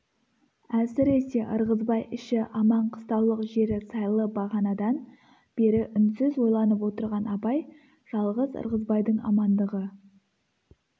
әсіресе ырғызбай іші аман қыстаулық жері сайлы бағанадан бері үнсіз ойланып отырған абай жалғыз ырғызбайдың амандығы